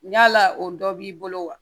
Yala o dɔ b'i bolo wa